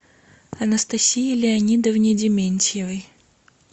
анастасии леонидовне дементьевой